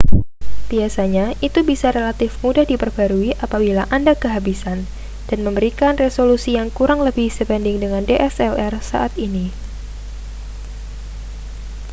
biasanya itu bisa relatif mudah diperbarui apabila anda kehabisan dan memberikan resolusi yang kurang lebih sebanding dengan dslr saat ini